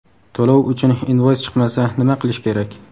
To‘lov uchun invoys chiqmasa nima qilish kerak?.